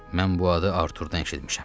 Mən bu adı Artordan eşitmişəm.